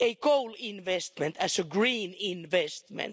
a coal investment a green investment?